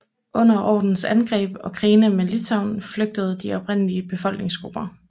Under Ordenens angreb og krigene med Litauen flygtede de oprindelige befolkningsgrupper